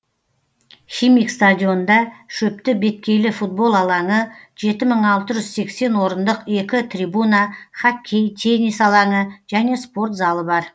химик стадионында шөпті беткейлі футбол алаңы жеті мың алты жүз сексен орындық екі трибуна хоккей теннис алаңы және спорт залы бар